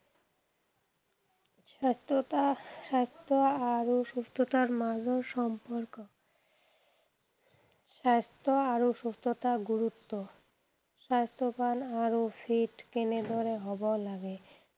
স্বাস্থ্যতা স্বাস্থ্য আৰু সুস্থতাৰ মাজত সম্পৰ্ক, স্বাস্থ্য আৰু সুস্থতাৰ গুৰুত্ব, স্বাস্থ্যৱান আৰু fit কেনেদৰে হʼব লাগে।